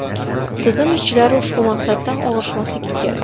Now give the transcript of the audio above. Tizim ishchilari ushbu maqsaddan og‘ishmasligi kerak.